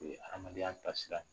O hadamadenya tasira